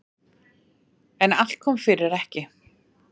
En allt kom fyrir ekki.